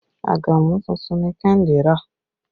Àgàmú tuntun ni Kehinde rà